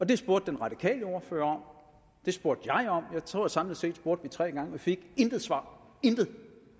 det spurgte den radikale ordfører om det spurgte jeg om og jeg tror at vi samlet set spurgte tre gange vi fik intet svar intet